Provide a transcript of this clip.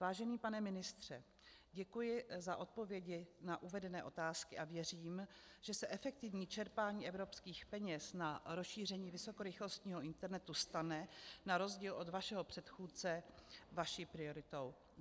Vážený pane ministře, děkuji za odpovědi na uvedené otázky a věřím, že se efektivní čerpání evropských peněz na rozšíření vysokorychlostního internetu stane, na rozdíl od vašeho předchůdce, vaší prioritou.